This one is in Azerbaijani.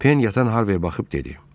Pen yatan Harviyə baxıb dedi.